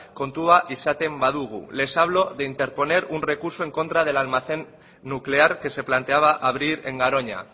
kontuan izaten badugu les hablo de interponer un recurso en contra del almacén nuclear que se planteaba abrir en garoña